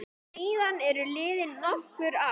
Síðan eru liðin nokkur ár.